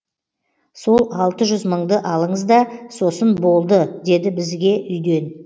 сол алты жүз мыңды алыңызда сосын болды деді бізге үйден